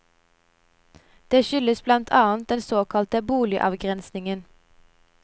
Dette skyldes blant annet den såkalte boligavgrensningen.